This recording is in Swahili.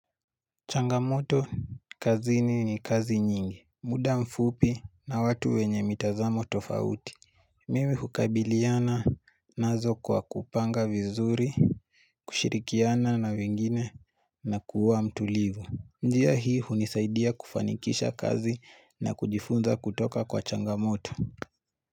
Changamoto kazini ni kazi nyingi. Muda mfupi na watu wenye mitazamo tofauti. Mimi hukabiliana, nazo kwa kupanga vizuri, kushirikiana na wengine na kuwa mtulivu. Njia hii hunisaidia kufanikisha kazi na kujifunza kutoka kwa changamoto.